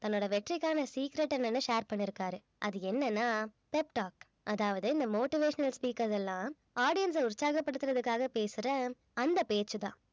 தன்னோட வெற்றிக்கான secret என்னன்னு share பண்ணிருக்காரு அது என்னன்னா pep talk அதாவது இந்த motivational speakers எல்லாம் audience அ உற்சாகப்படுத்துறதுக்காக பேசுற அந்த பேச்சுதான்